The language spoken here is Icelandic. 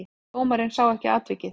Dómarinn sá ekki atvikið.